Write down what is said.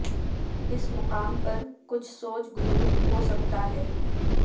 اس مقام پر کچھ سوج غدود ہو سکتا ہے